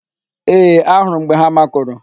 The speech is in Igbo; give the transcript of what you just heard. Ee, ahụrụ m mgbe ha makụrụ.